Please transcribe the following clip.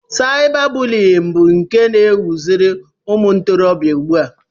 Saiba bụliyin bụ nke na ewuziri umuntorobia ugbua.